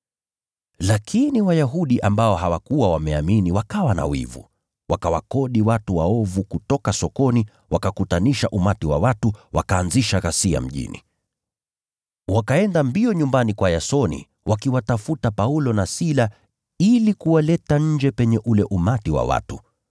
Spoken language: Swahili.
Lakini Wayahudi ambao hawakuwa wameamini wakawa na wivu, wakawakodi watu waovu kutoka sokoni, wakakutanisha umati wa watu, wakaanzisha ghasia mjini. Wakaenda mbio nyumbani kwa Yasoni wakiwatafuta Paulo na Sila ili kuwaleta nje penye ule umati wa watu.